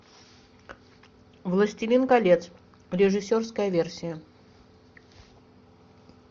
властелин колец режиссерская версия